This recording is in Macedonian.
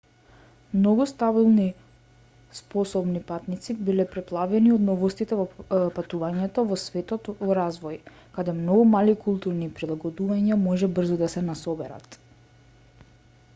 многу стабилни способни патници биле преплавени од новостите во патувањето во светот во развој каде многу мали културни прилагодувања може брзо да се насоберат